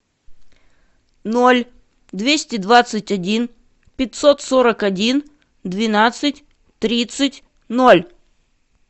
ноль двести двадцать один пятьсот сорок один двенадцать тридцать ноль